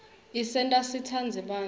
isenta sitsandze bantfu